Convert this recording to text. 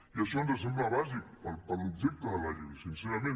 i això ens sembla bàsic per l’objecte de la llei sincerament